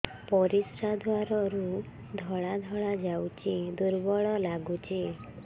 ପରିଶ୍ରା ଦ୍ୱାର ରୁ ଧଳା ଧଳା ଯାଉଚି ଦୁର୍ବଳ ଲାଗୁଚି